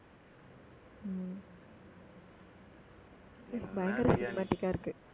பயங்கர cinematic ஆ இருக்கு